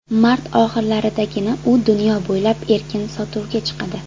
Mart oxirlaridagina u dunyo bo‘ylab erkin sotuvga chiqadi.